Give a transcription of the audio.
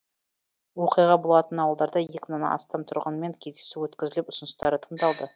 оқиға болған ауылдарда екі мыңнан астам тұрғынмен кездесу өткізіліп ұсыныстары тыңдалды